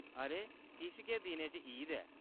अरे, किश गै दिनें च ईद ऐ।